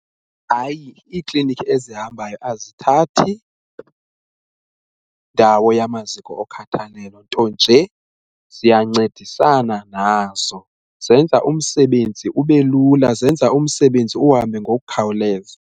Hayi, iiklinikhi ezihambayo azithathi ndawo yamaziko okhathalelo nto nje ziyancedisana nazo zenza umsebenzi ube lula, zenza umsebenzi uhambe ngokukhawuleza.